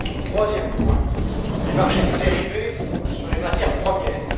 Troisième point les marchés de dérivés sur les matières premières.